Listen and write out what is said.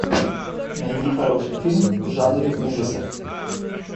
найди хороший фильм в жанре ужасов